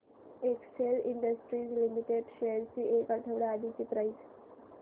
Excel Industries Limited shares ची एक आठवड्या आधीची प्राइस